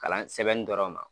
kalan sɛbɛnni dɔrɔn ma.